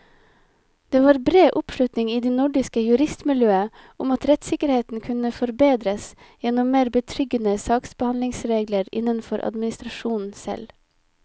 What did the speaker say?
Det var bred oppslutning i det nordiske juristmiljøet om at rettssikkerheten kunne forbedres gjennom mer betryggende saksbehandlingsregler innenfor administrasjonen selv.